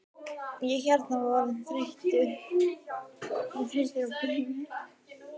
Ég hérna. ég var bara orðinn þreyttur á bleika litnum.